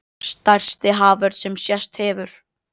Stærsti haförn sem sést hefur